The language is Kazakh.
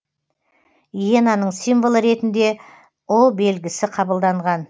иенаның символы ретінде белгісі қабылданған